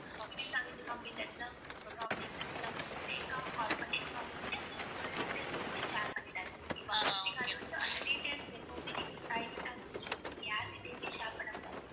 திடீர்னு நாங்க இந்த company ல இருந்து தான் கூப்பிடறோம் அப்படின்னு எல்லாம் சிலவங்க வந்து fake ஆ call பண்ணி நீங்க அவங்ககிட்ட உங்களோட details எதுவுமே share பண்ணிடாதீங்க okay வா நீங்க அதை வந்து அந்த details எப்பவுமே நீங்க private ஆ தான் வச்சுக்கணும் நீங்க யார்கிட்டயுமே share பண்ணக் கூடாது.